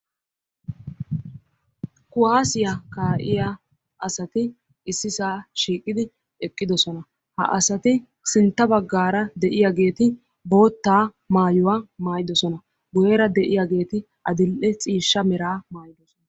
Kuwaasiyaa kaa"iyaa asati issisaa shiiqidi eqqidosona. ha asati sintta baggara de'iyaageti bootta maayuwaa maayidosona. guyeera de'iyaati adil"e ciishsha meraa maayidosona.